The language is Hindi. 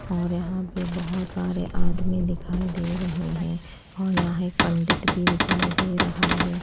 और यहां पे बहोत सारे आदमी दिखाई दे रहे हैं और यहां एक पंडित भी दिखाई दे रहा हैं।